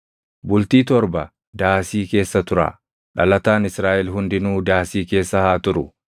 Bultii torba daasii keessa turaa; dhalataan Israaʼel hundinuu daasii keessa haa turu;